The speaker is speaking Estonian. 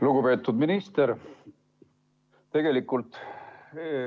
Lugupeetud minister!